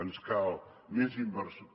ens cal més inversió